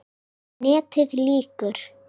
NETIÐ LÝKUR